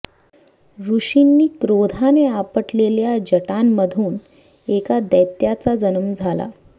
ऋषींनी क्रोधाने आपटलेल्या जटांमधून एका दैत्याचा जन्म झाला